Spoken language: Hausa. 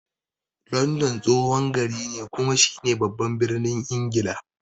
London tsohon gari ne kuma shi ne baban birnin Ingila.